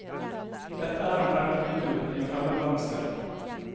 Dette er en fremmed kultur i en fremmed verdensdel.